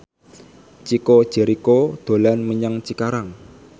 Chico Jericho dolan menyang Cikarang